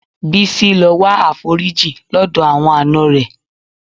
Bísí lọ wá àforíjì lọ́dọ̀ àwọn àna rẹ̀.